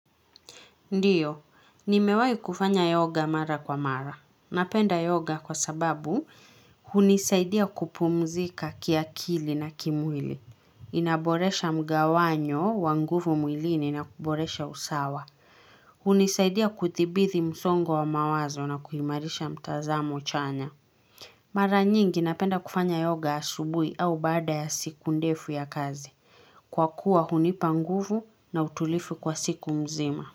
Ndiyo, nimewahi kufanya yoga mara kwa mara. Napenda yoga kwa sababu hunisaidia kupumzika kiakili na kimwili. Inaboresha mgawanyo wa nguvu mwilini na kuboresha usawa. Hunisaidia kudhibiti msongo wa mawazo na kuimarisha mtazamo chanya Mara nyingi napenda kufanya yoga asubuhi au baada ya siku ndefu ya kazi. Kwa kuwa hunipa nguvu na utulivu kwa siku nzima.